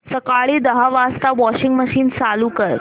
सकाळी दहा वाजता वॉशिंग मशीन चालू कर